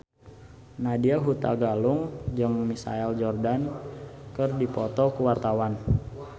Nadya Hutagalung jeung Michael Jordan keur dipoto ku wartawan